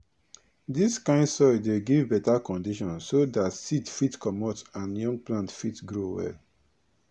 dis kind soil dey give beta condition so dat seed fit comot and young plants fit grow well